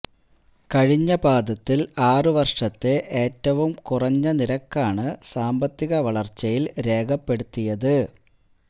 കഴിഞ്ഞ പാദത്തില് ആറ് വര്ഷത്തെ ഏറ്റവും കുറഞ്ഞ നിരക്കാണ് സാമ്പത്തിക വളര്ച്ചയില് രേഖപ്പെടുത്തിയത്